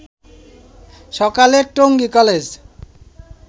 সকালে টঙ্গী কলেজ